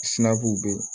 be yen